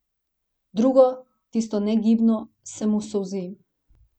Drugo, tisto negibno, se mu solzi.